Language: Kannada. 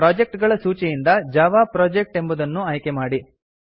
ಪ್ರೊಜೆಕ್ಟ್ ಗಳ ಸೂಚಿಯಿಂದ ಜಾವಾ ಪ್ರೊಜೆಕ್ಟ್ ಎಂಬುದನ್ನ್ಉ ಆಯ್ಕೆಮಾಡಿ